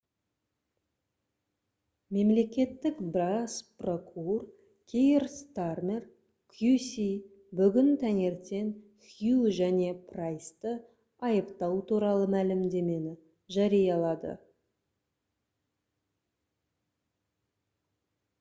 мемлекеттік бас прокур кейр стармер qc бүгін таңертең хью және прайсты айыптау туралы мәлімдемені жариялады